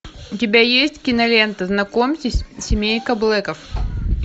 у тебя есть кинолента знакомьтесь семейка блэков